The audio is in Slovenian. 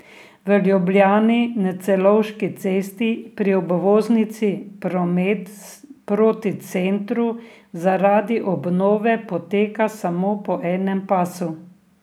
V Ljubljani na Celovški cesti pri obvoznici promet proti centru zaradi obnove poteka samo po enem pasu.